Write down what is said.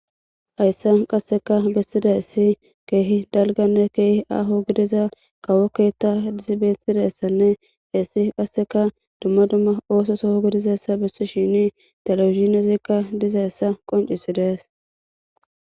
hayssa qasseka bessida issi keehi dalganne keehi aaho gidiza kawokkeetta dizibettidassanne hessi qasseka dumma dumma ooso soho gidizassa bissi shini talawizinezikka dizayssa qoncisi dees